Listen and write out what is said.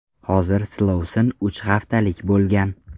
Hozir silovsin uch haftalik bo‘lgan.